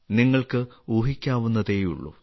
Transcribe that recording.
നിങ്ങൾക്ക് ഊഹിക്കാവുന്നതേയുള്ളൂ